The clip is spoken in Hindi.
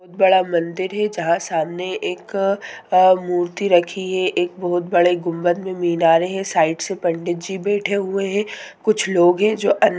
बहुत बड़ा मंदिर है जहाँ सामने एक अ-- मूर्ति रखी है एक बहुत बड़े गुंबद में मीनारे है साइड से पंडित जी बैठे हुए है कुछ लोग है जो अन्न--